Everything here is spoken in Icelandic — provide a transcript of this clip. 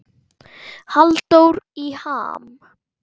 Halldór í ham